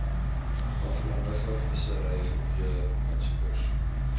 aflandige visserygebiede aansoekers